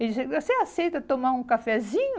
Ele disse assim, você aceita tomar um cafezinho?